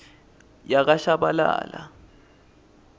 yakashabalala